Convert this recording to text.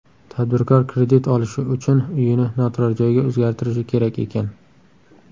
Tadbirkor kredit olishi uchun uyini noturarjoyga o‘zgartirishi kerak ekan.